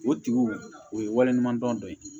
O tigiw o ye wale ɲumandɔn dɔ ye